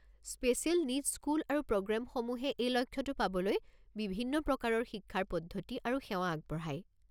Special needs school আৰু প্ৰগ্ৰামসমূহে এই লক্ষ্যটো পাবলৈ বিভিন্ন প্ৰকাৰৰ শিক্ষাৰ পদ্ধতি আৰু সেৱা আগবঢ়ায়।